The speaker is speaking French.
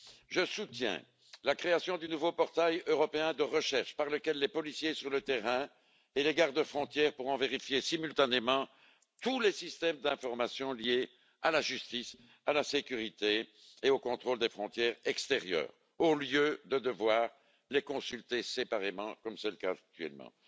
Je soutiens la création du nouveau portail européen de recherche par lequel les policiers sur le terrain et les gardes frontières pourront vérifier simultanément tous les systèmes d'information liés à la justice, à la sécurité et au contrôle des frontières extérieures, au lieu de devoir les consulter séparément comme c'est le cas actuellement.